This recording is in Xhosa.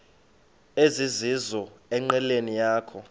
ezizizo enqileni yakho